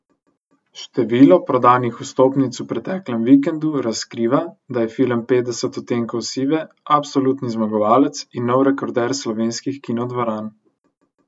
Število prodanih vstopnic v preteklem vikendu razkriva, da je film Petdeset odtenkov sive absolutni zmagovalec in nov rekorder slovenskih kinodvoran.